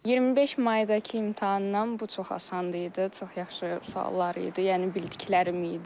25 maydakı imtahandan bu çox asan idi, çox yaxşı suallar idi, yəni bildiklərim idi.